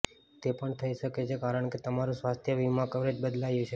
તે પણ થઈ શકે છે કારણ કે તમારું સ્વાસ્થ્ય વીમા કવરેજ બદલાયું છે